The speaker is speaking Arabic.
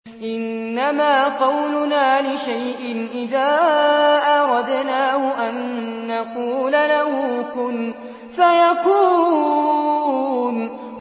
إِنَّمَا قَوْلُنَا لِشَيْءٍ إِذَا أَرَدْنَاهُ أَن نَّقُولَ لَهُ كُن فَيَكُونُ